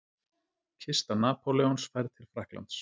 Kista Napóleons færð til Frakklands.